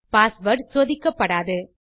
password சோதிக்கப்படாது